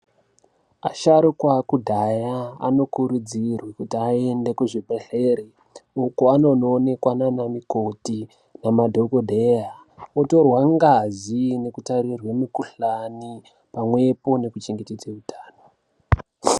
Asharukwa ekudhaya anokurudzirwa kuti aende kuzvibhedhlera uko anondoonekwa ndiana mikoti nemadhokodheya otorwe ngazi nekutarirwa mikuhlani pamwepo nekuchengetedza hutano.